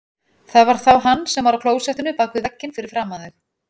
Það var þá hann sem var á klósettinu bak við vegginn fyrir framan þau.